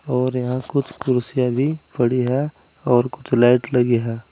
और यहां कुछ कुर्सी भी पड़ी है और कुछ लाइट लगी है।